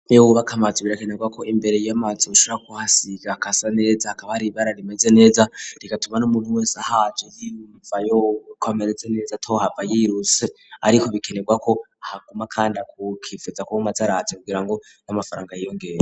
Iyo wubaka amazi birakenerwa ko imbere y'amazu ushara kuhasiga hagasa neza akaba hari ibara rimeze neza rikatuma n'umuntu wese ahaco yimvayoko ameretse neza to hava y'iruse ariko bikenerwa ko ahaguma kandi akukifuza ko yoguma araza kugira ngo n'amafaranga yiyongere.